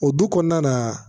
O du kɔnɔna na